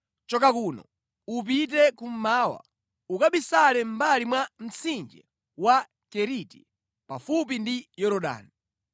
“Choka kuno, upite kummawa, ukabisale mʼmbali mwa mtsinje wa Keriti, pafupi ndi Yorodani.